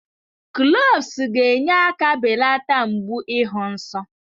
Cloves ga-enye aka belata mgbu ịhụ nsọ.